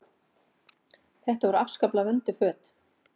Þetta voru afskaplega vönduð föt.